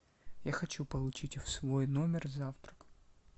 я хочу получить в свой номер завтрак